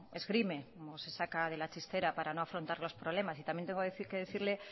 esgrime o se saca de la chistera para no afrontar los problemas y también tengo que decirle